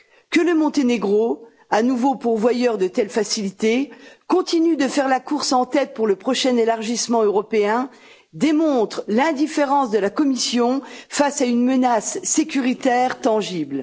Que le Monténégro, à nouveau pourvoyeur de telles facilités, continue de faire la course en tête pour le prochain élargissement européen démontre l'indifférence de la Commission face à une menace sécuritaire tangible.